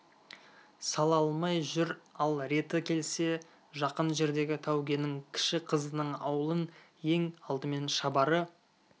сала алмай жүр ал реті келсе жақын жердегі тәукенің кіші қызының ауылын ең алдымен шабары